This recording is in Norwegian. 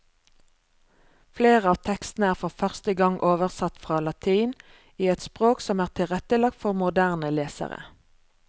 Flere av tekstene er for første gang oversatt fra latin, i et språk som er tilrettelagt for moderne lesere.